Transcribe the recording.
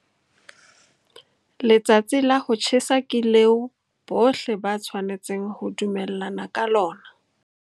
Letsatsi la ho tjhesa ke leo bohle ba tshwanetseng ho dumellana ka lona.